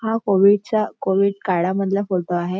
हा कोव्हिड च्या काळामधला फोटो आहे.